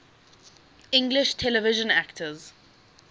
english television actors